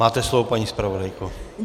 Máte slovo, paní zpravodajko.